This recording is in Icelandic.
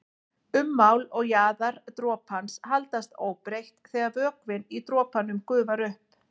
Ummál og jaðar dropans haldast óbreytt þegar vökvinn í dropanum gufar upp.